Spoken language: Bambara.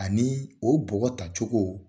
Ani o bɔgɔ tacogo